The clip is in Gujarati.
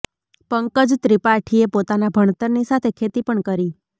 પકંજ ત્રિપાઠીએ પોતાના ભણતરની સાથે ખેતી પણ કરી